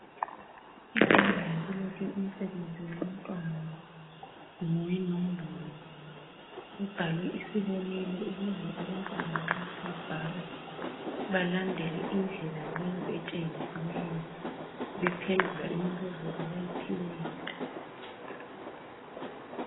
Ebhodini kulotshwe umsebenzi wabantwana, ngowenombolo. Kubhalwe isibonelo ukuze abantwana nxa sebebhala balandele indlela leyo etshengisiweyo bephendula imibuzo abayiphiweyo